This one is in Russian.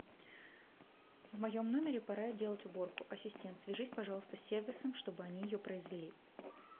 в моем номере пора делать уборку ассистент свяжись пожалуйста с сервисом чтобы они ее произвели